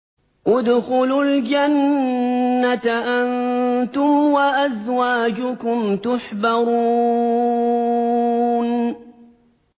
ادْخُلُوا الْجَنَّةَ أَنتُمْ وَأَزْوَاجُكُمْ تُحْبَرُونَ